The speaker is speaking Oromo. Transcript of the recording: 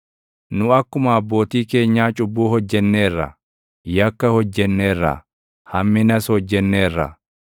Nu akkuma abbootii keenyaa cubbuu hojjenneerra; yakka hojjenneerra; hamminas hojjenneerra.